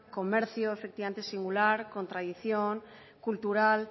comercio efectivamente singular con tradición cultural